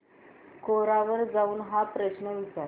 कोरा वर जाऊन हा प्रश्न विचार